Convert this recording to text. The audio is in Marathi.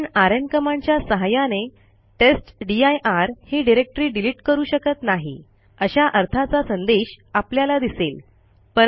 आपण आरएम कमांडच्या सहाय्याने टेस्टदीर ही डिरेक्टरी डिलिट करू शकत नाही अशा अर्थाचा संदेश आपल्याला दिसेल